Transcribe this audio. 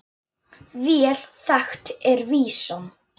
Vel þekkt er vísan